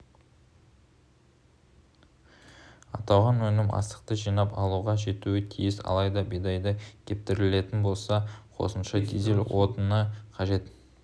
аталған өнім астықты жинап алуға жетуі тиіс алайда бидайды кептіретін болса қосымша дизель отыны қажет